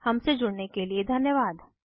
हमसे जुड़ने के लिए धन्यवाद